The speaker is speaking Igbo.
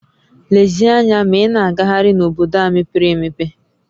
Lezie anya ma ị na-agagharị n'obodo a mepere emepe!